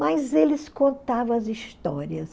Mas eles contavam as histórias.